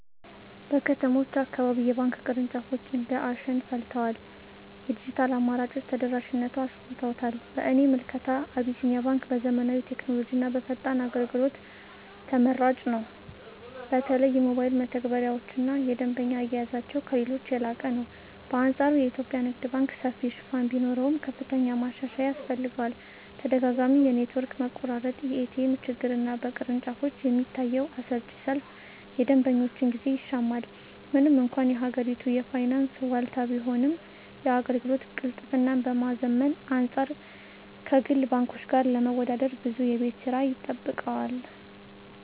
በከተሞች አካባቢ የባንክ ቅርንጫፎች እንደ አሸን ፈልተዋል፤ የዲጂታል አማራጮችም ተደራሽነቱን አሰፍተውታል። በእኔ ምልከታ አቢሲኒያ ባንክ በዘመናዊ ቴክኖሎጂና በፈጣን አገልግሎት ተመራጭ ነው። በተለይ የሞባይል መተግበሪያቸውና የደንበኛ አያያዛቸው ከሌሎች የላቀ ነው። በአንፃሩ የኢትዮጵያ ንግድ ባንክ ሰፊ ሽፋን ቢኖረውም፣ ከፍተኛ ማሻሻያ ያስፈልገዋል። ተደጋጋሚ የኔትወርክ መቆራረጥ፣ የኤቲኤም ችግርና በቅርንጫፎች የሚታየው አሰልቺ ሰልፍ የደንበኞችን ጊዜ ይሻማል። ምንም እንኳን የሀገሪቱ የፋይናንስ ዋልታ ቢሆንም፣ የአገልግሎት ቅልጥፍናን ከማዘመን አንፃር ከግል ባንኮች ጋር ለመወዳደር ብዙ የቤት ሥራ ይጠብቀዋል።